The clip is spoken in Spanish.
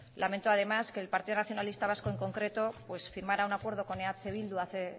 lamento ademá s que el partido nacionalista vasco en concreto pues firmara un acuerdo con eh bildu hace